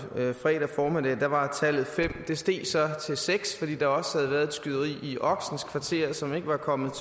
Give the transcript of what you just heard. fredag formiddag var tallet fem det steg så til seks fordi der også havde været et skyderi i oksens kvarter som ikke var kommet